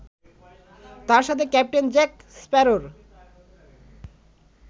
তার সাথে captain Jack স্প্যারোর